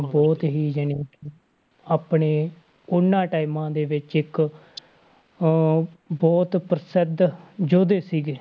ਬਹੁਤ ਹੀ ਜਾਣੀਕਿ ਆਪਣੇ ਉਹਨਾਂ times ਦੇ ਵਿੱਚ ਇੱਕ ਅਹ ਬਹੁਤ ਪ੍ਰਸਿੱਧ ਯੋਧੇ ਸੀਗੇ।